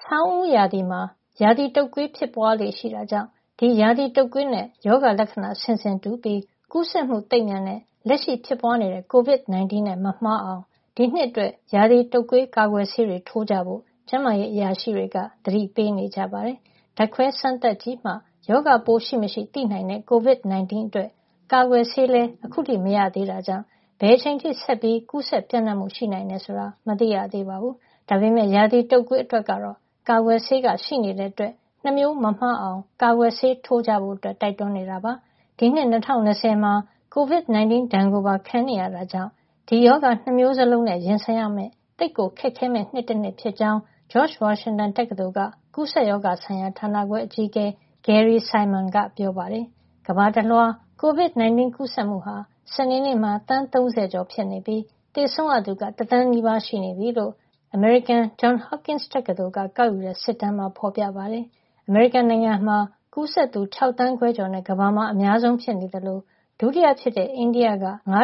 ဆောင်းဦးရာသီမှာ ရာသီတုပ်ကွေး ဖြစ်ပွားလေ့ရှိတာကြောင့် ဒီရာသီတုပ်ကွေးနဲ့ ရောဂါလက္ခဏာ ဆင်ဆင်တူပြီး ကူးစက်မှုသိပ်မြန်တဲ့ လက်ရှိဖြစ်ပွားနေတဲ့ COVID-19 နဲ့ မမှားအောင် ဒီနှစ်အတွက် ရာသီတုပ်ကွေး ကာကွယ်ဆေးတွေ ထိုးကြဖို့ ကျန်းမာရေးအရာရှိတွေက သတိပေးနေကြပါတယ်။ ဓာတ်ခွဲစမ်းသပ်ကြည့်မှ ရောဂါပိုးရှိမရှိ သိနိုင်တဲ့ COVID-19 အတွက် ကာကွယ်ဆေးလည်း အခုထိ မရသေးတဲ့အတွက် ဘယ်အချိန်အထိ ဆက်ပြီး ကူးစက်ပျံ့နှ့ံ့မှု ရှိနိုင်တယ်ဆိုတာ မသိရသေးပါဘူး။ ဒါပေမယ့် ရာသီတုပ်ကွေး အတွက်ကတော့ ကာကွယ်ဆေးက ရှိနေတာကြောင့် ၂ မျိုးမမှားအောင် ကာကွယ်ဆေးထိုးကြဖို့ တိုက်တွန်းနေတာ ဖြစ်ပါတယ်။ ဒီနှစ် ၂၀၂၀ မှာ COVID-19 ဒဏ်ကိုပါ ခံနေရတာကြောင့် ဒီရောဂါ ၂ မျိုးစလုံးနဲ့ ရင်ဆိုင်ရမယ့် သိပ်ကိုခက်ခဲမယ့် နှစ်တနှစ်ဖြစ်ကြောင်း George Washington တက္ကသိုလ်က ကူးစက်ရောဂါဆိုင်ရာဌာနခွဲ အကြီးအကဲ Gary Simon က ပြောပါတယ်။ ကမ္ဘာတလွှား COVID-19 ကူးစက်မှုဟာ စနေနေ့မှာ သန်း ၃၀ ကျော်နေပြီဖြစ်ပြီး သေဆုံးရသူက တသန်းနီးပါး ရှိနေပြီလို့ အမေရိကန် Johns Hopkins တက္ကသိုလ်က ကောက်ယူတဲ့စစ်တမ်းမှာ ဖော်ပြပါတယ်။ အမေရိကန်နိုင်ငံက ကူးစက်သူ ၆ သန်းခွဲကျော်နဲ့ ကမ္ဘာမှာ အများဆုံးဖြစ်နေသလို ဒုတိယဖြစ်တဲ့ အိန္ဒိယက ၅.၃